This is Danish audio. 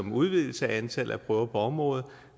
en udvidelse af antallet af prøver på området